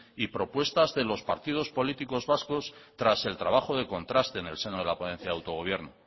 y propuestas de los partidos políticos vascos tras el trabajo de contraste en el seno de la ponencia de autogobierno